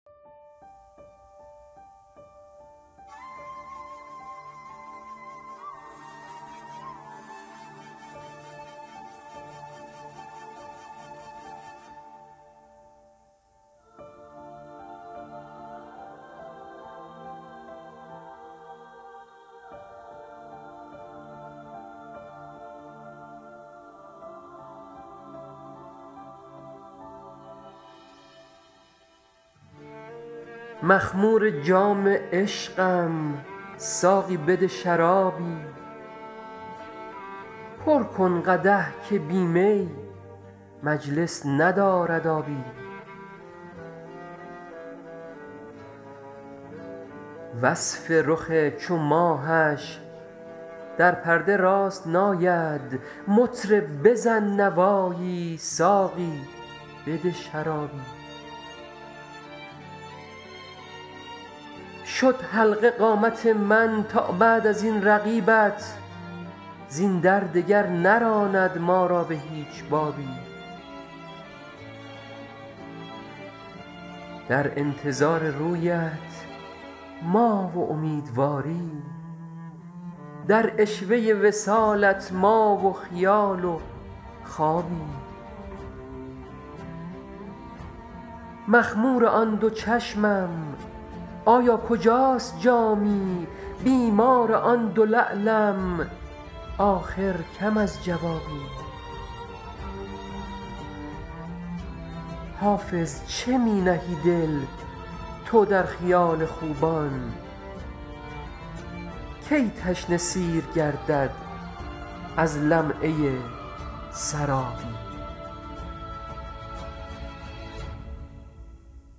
مخمور جام عشقم ساقی بده شرابی پر کن قدح که بی می مجلس ندارد آبی وصف رخ چو ماهش در پرده راست نآید مطرب بزن نوایی ساقی بده شرابی شد حلقه قامت من تا بعد از این رقیبت زین در دگر نراند ما را به هیچ بابی در انتظار رویت ما و امیدواری در عشوه وصالت ما و خیال و خوابی مخمور آن دو چشمم آیا کجاست جامی بیمار آن دو لعلم آخر کم از جوابی حافظ چه می نهی دل تو در خیال خوبان کی تشنه سیر گردد از لمعه سرابی